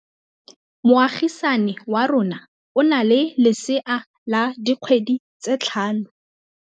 Moagisane wa rona o na le lesea la dikgwedi tse tlhano.